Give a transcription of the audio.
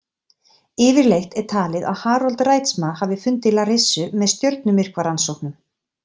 Yfirleitt er talið að Harold Reitsma hafi fundið Larissu með stjörnumyrkvarannsóknum.